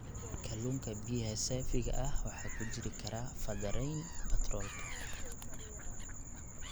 Kalluunka biyaha saafiga ah waxa ku jiri kara faddarayn batroolka.